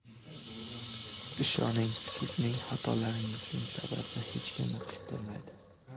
Ishoning, sizning xatolaringizning sababi hech kimni qiziqtirmaydi.